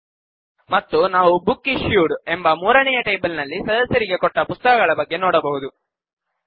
ಲ್ಟ್ಪಾಸೆಗ್ಟ್ ಮತ್ತು ನಾವು book issued ಎಂಬ ಮೂರನೆಯ ಟೇಬಲ್ ನಲ್ಲಿ ಸದಸ್ಯರಿಗೆ ಕೊಟ್ಟ ಪುಸ್ತಕಗಳ ಬಗ್ಗೆ ನೋಡಬಹುದು